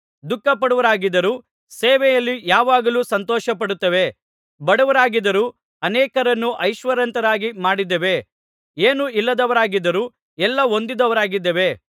ದುಃಖಪಡುವವರಾಗಿದ್ದರೂ ಸೇವೆಯಲ್ಲಿ ಯಾವಾಗಲೂ ಸಂತೋಷಪಡುತ್ತೇವೆ ಬಡವರಾಗಿದ್ದರೂ ಅನೇಕರನ್ನು ಐಶ್ವರ್ಯವಂತರಾಗಿ ಮಾಡಿದ್ದೇವೆ ಏನೂ ಇಲ್ಲದವರಾಗಿದ್ದರೂ ಎಲ್ಲಾ ಹೊಂದಿದವರಾಗಿದ್ದೇವೆ